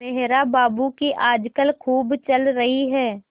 मेहरा बाबू की आजकल खूब चल रही है